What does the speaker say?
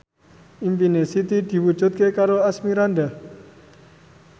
impine Siti diwujudke karo Asmirandah